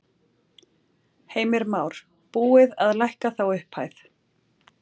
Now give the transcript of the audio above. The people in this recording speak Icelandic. Heimir Már: Búið að lækka þá upphæð?